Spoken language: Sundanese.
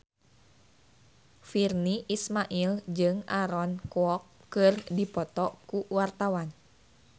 Virnie Ismail jeung Aaron Kwok keur dipoto ku wartawan